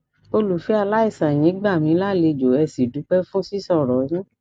olùfẹ aláìsàn ẹyin gbà mí lálejò ẹ sì dúpẹ fún sísọrọ yín